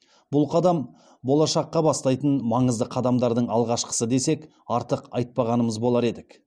бұл қадам болашаққа бастайтын маңызды қадамдардың алғашқысы десек артық айтпағанымыз болар едік